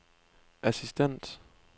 assistent